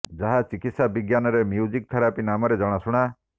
ଯାହା ଚିକତ୍ସା ବିଜ୍ଞାନ ରେ ମ୍ୟୁଜିକ ଥେରାପି ନାମରେ ଜଣାଶୁଣା